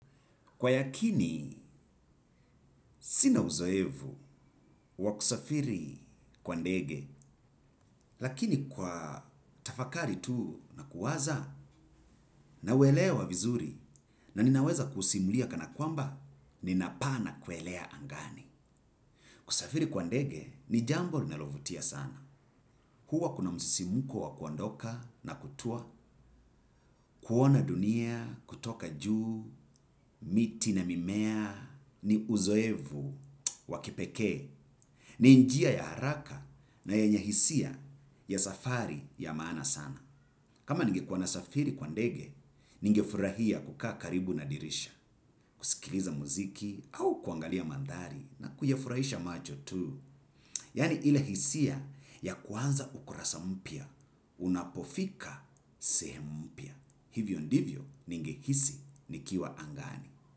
Kwa yakini, sina uzoefu wa kusafiri kwa ndege, lakini kwa tafakari tuu na kuwaza nauelewa vizuri na ninaweza kusimulia kana kwamba, ninapaa na kuelea angani. Kusafiri kwa ndege, ni jambo linalovutia sana. Huwa kuna msisimko wa kuondoka na kutua, kuona dunia kutoka juu, miti na mimea, ni uzoefu wa kipekee. Ni njia ya haraka na yenye hisia ya safari ya maana sana. Kama ningekuwa na safiri kwa ndege, ningefurahia kukaa karibu na dirisha. Kusikiliza muziki au kuangalia mandhari na kuyafurahisha macho tu. Yani ile hisia ya kuanza ukurasa mpya, unapofika sehemu mpya. Hivyo ndivyo ningehisi ni kiwa angani.